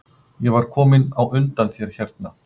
Ég var kominn á undan þér hérna?